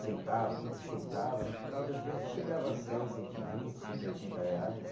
centavos, trinta centavos, no final do dia você chegava a cem, cento e vinte, cento e oitenta reais.